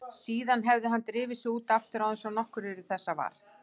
Síðan hefði hann drifið sig út aftur án þess að nokkur yrði þessa var.